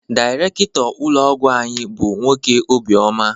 Dairekto ụlọ ọgwụ anyị bụ nwoke obi oma